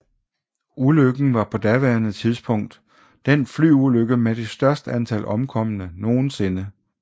Ulykken var på daværende tidspunkt den flyulykke med det største antal omkomne nogensinde